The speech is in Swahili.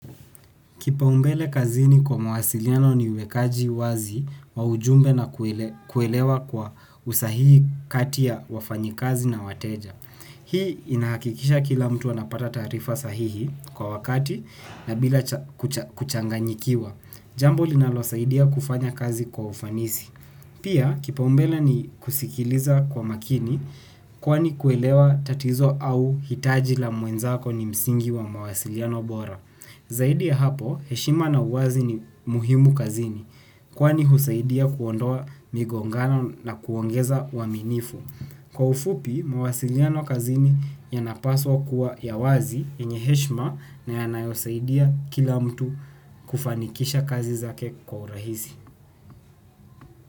Kipaumbele kazini kwa mawasiliano ni uwekaji wazi wa ujumbe na kuele kuelewa kwa usahihi kati ya wafanyikazi na wateja. Hii inahakikisha kila mtu anapata taarifa sahihi kwa wakati na bila cha kucha kuchanganyikiwa. Jambo linalosaidia kufanya kazi kwa ufanisi. Pia kipaumbele ni kusikiliza kwa makini kwani kuelewa tatizo au hitaji la mwenzako ni msingi wa mawasiliano bora. Zaidi ya hapo, heshima na uwazi ni muhimu kazini, kwani husaidia kuondoa migongano na kuongeza uaminifu. Kwa ufupi, mawasiliano kazini yanapaswa kuwa ya wazi yenye heshima na yanayosaidia kila mtu kufanikisha kazi zake kwa urahisi.